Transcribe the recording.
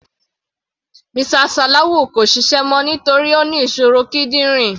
Mr Salawu kò ṣiṣẹ́ mọ́ nítorí Ó ní ìṣòro kídìrín.